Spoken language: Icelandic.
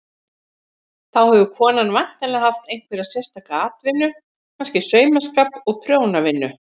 Þá hefur konan væntanlega haft einhverja sérstaka atvinnu, kannski saumaskap og prjónavinnu.